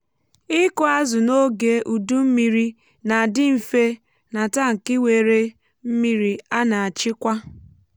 um ịkụ azụ n’oge udu mmiri na-adị mfe n’atankị nwere mmiri a na-achịkwa.